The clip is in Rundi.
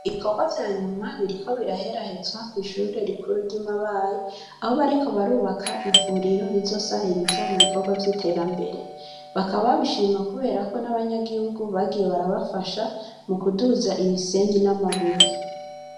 Ibikorwa vyanyuma, biriko biraherahezwa kwishure rikuru ry'imabayi, Aho bariko barubaka ivuriro rizofasha mubikorwa vy'iterambere, bakaba babishima kubera ko nabanyaguhugu bagiye barabafasha mukuduza imisenyi n'amabuye.